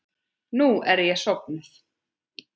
Nú er ég sofnuð.